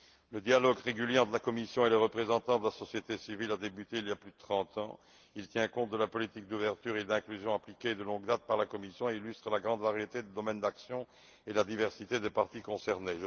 Le dialogue régulier entre la Commission et les représentants de la société civile a débuté il y a plus de trente ans. Il tient compte de la politique d'ouverture et de l'inclusion appliquée de longue date par la Commission et illustre la grande variété de domaines d'action et la diversité des parties concernées.